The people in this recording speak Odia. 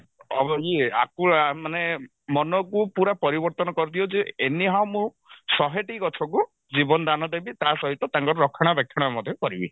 ଅ ଇଏ ଆକୁ ଆ ମାନେ ମନକୁ ପୁରା ପରିବର୍ତନ କରିଦିଅ ଯେ any how ମୁଁ ଶହେଟି ଗଛକୁ ଜୀବନ ଦାନ ଦେବି ତା ସହିତ ତାଙ୍କର ରକ୍ଷଣା ବେକ୍ଷଣା ମଧ୍ୟ କରିବି